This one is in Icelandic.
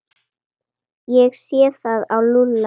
Ég sé það á Lúlla.